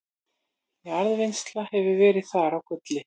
jarðvinnsla hefur verið þar á gulli